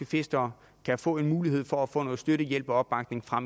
fiskere kan få en mulighed for at få noget støtte hjælp og opbakning fra